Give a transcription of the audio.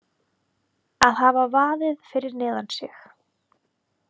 Að hafa vaðið fyrir neðan sig